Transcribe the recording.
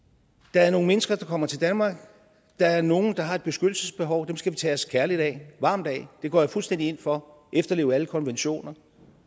der er nogle mennesker der kommer til danmark og der er nogle der har et beskyttelsesbehov og dem skal vi tage os kærligt og varmt af det går jeg fuldstændig ind for at efterleve alle konventioner